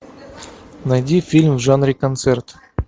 найди фильм в жанре концерт